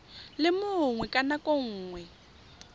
le mongwe ka nako nngwe